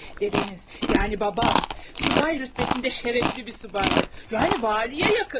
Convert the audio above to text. Dədəniz, yəni babam subay rütbəsində şərəfli bir subaydı.